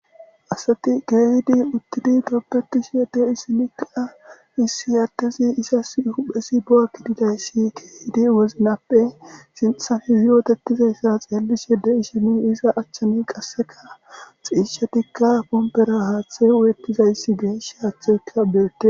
Asati geyidi uttidi gorpetishe de'oysi issi adezi izasi huphezi bo'a gididaysi izi ba sinthappe yottetizaysa xellishe de'ishin qaseka sishatika ponpara haththey uyetizays betishin hathe oykidays betes.